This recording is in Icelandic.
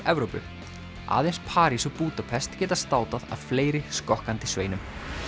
Evrópu aðeins París og Búdapest geti státað af fleiri skokkandi sveinum